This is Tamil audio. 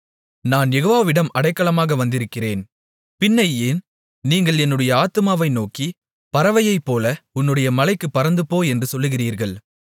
நான் யெகோவாவிடம் அடைக்கலமாக வந்திருக்கிறேன் பின்னை ஏன் நீங்கள் என்னுடைய ஆத்துமாவை நோக்கி பறவையைப்போல உன்னுடைய மலைக்குப் பறந்துபோ என்று சொல்லுகிறீர்கள்